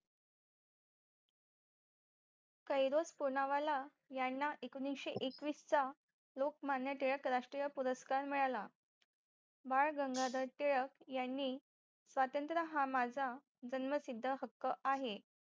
कैरस पुनावाला यांना एकोणीशे एकवीस चा लोकमान्य टिळक राष्ट्रीय पुरस्कार मिळाला बाळ गंगाधर टिळक यांनी स्वातंत्र हा माझा जन्मसिद्ध हक्क आहे